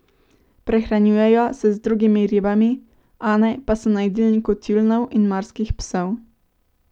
Prehranjujejo se z drugimi ribami, one pa so na jedilniku tjulnjev in morskih psov.